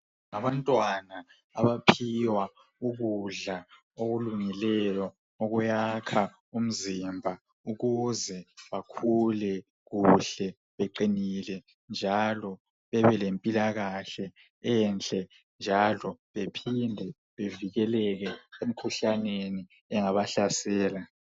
Abantwana abaphiwa ukudla okulungilelo okuyakha umzimba ukuze bakhule kuhle beqinile njali bebelempilakahle enhle njalo bephinde bevikeleke emkhuhlaneni engabahlasela